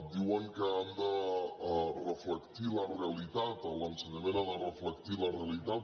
diuen que han de reflectir la realitat l’ensenyament ha de reflectir la realitat